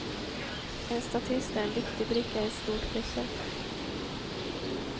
En statist är en viktig bricka i ett stort pussel.